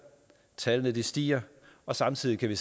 tallene stiger og samtidig kan vi